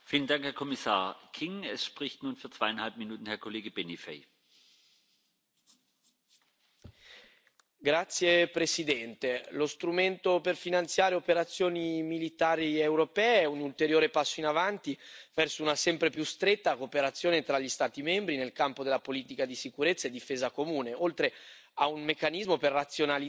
Signor Presidente, onorevoli colleghi, lo strumento per finanziare operazioni militari europee è un ulteriore passo avanti verso una sempre più stretta cooperazione tra gli Stati membri nel campo della politica di sicurezza e difesa comune, oltre che un meccanismo per razionalizzare i meccanismi esistenti.